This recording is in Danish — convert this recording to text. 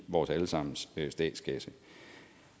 vores alle sammens statskasse